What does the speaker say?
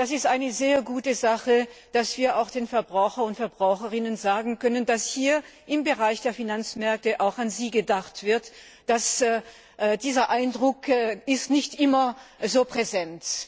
Es ist eine sehr gute Sache, dass wir den Verbrauchern und Verbraucherinnen sagen können, dass hier im Bereich der Finanzmärkte auch an sie gedacht wird, dieser Eindruck ist nicht immer so präsent.